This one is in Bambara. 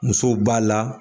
Muso b'a la